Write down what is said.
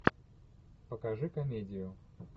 покажи комедию